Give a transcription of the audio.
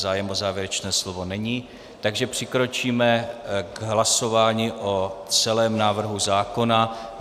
Zájem o závěrečné slovo není, takže přikročíme k hlasování o celém návrhu zákona.